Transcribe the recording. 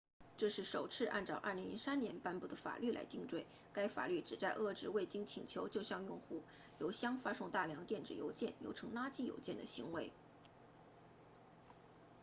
这是首次按照2003年颁布的法律来定罪该法律旨在遏制未经请求就向用户邮箱发送大量电子邮件又称垃圾邮件的行为